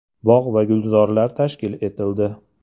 Bog‘ va gulzorlar tashkil etildi.